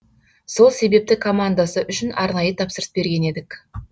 сол себепті командасы үшін арнайы тапсырыс берген едік